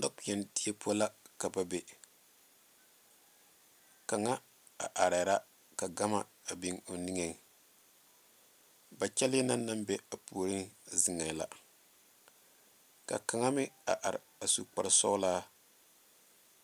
Nɔkpeɛne die poɔ la ka ba be kaŋ are ka gama be niŋe ba kyɛlle naŋ ba puoriŋ meŋ zeŋe la ka kaŋa meŋ are a su kpaare soɔlaa